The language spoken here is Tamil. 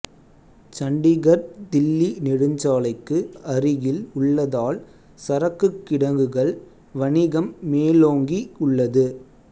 சண்டிகர்தில்லி நெடுஞ்சாலைக்கு அரிகில் உள்ளதால் சரக்குக் கிடங்குகள் வணிகம் மேலோங்கி உள்ளது